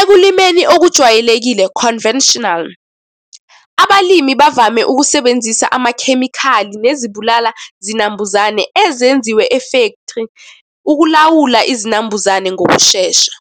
Ekulimeni okujwayelekile, conventional, abalimi bavame ukusebenzisa amakhemikhali nezibulala zinambuzane ezenziwe e-factory, ukulawula izinambuzane ngokushesha.